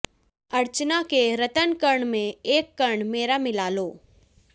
अर्चना के रत्नकण में एक कण मेरा मिला लो